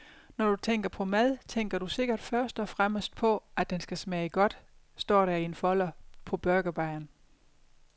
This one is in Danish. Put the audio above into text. Når du tænker på mad, tænker du sikkert først og fremmest på, at den skal smage godt, står der i en folder på burgerbaren.